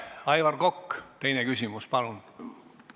Aivar Kokk, teine küsimus, palun!